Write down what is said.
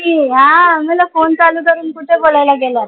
मी म्हंनल phone चालू करून कुठं बोलायला गेलात.